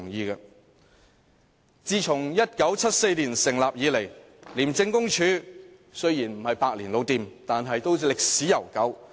廉署在1974年成立，雖然不是百年老店，但都歷史悠久。